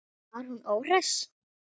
Var hún óhress?